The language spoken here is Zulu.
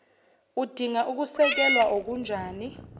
udinga ukusekelwa okunjani